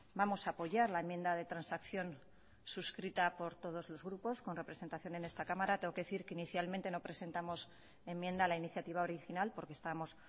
vamos a apoyar la enmienda de transacción suscrita por todos los grupos con representación en esta cámara tengo que decir que inicialmente no presentamos enmienda a la iniciativa original porque estamos